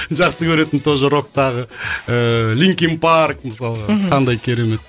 жақсы көретін тоже роктағы ыыы линкин парк мысалға мхм қандай керемет